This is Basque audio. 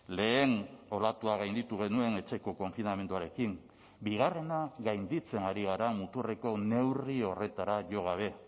lehen olatua gainditu genuen etxeko konfinamenduarekin bigarrena gainditzen ari gara muturreko neurri horretara jo gabe